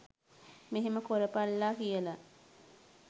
මෙහෙම කොරපල්ලා කියලා